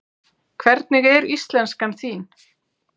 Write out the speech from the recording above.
Hvernig er íslenskan þín?